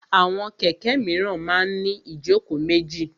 Àwọn kẹ̀kẹ́ míràn máa ń ní ìjókòó méjì.